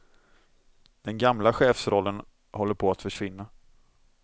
Den gamla chefsrollen håller på att försvinna.